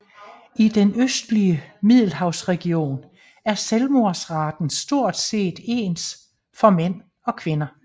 I den østlige Middelhavsregion er selvmordsraten stort set ens for mænd og kvinder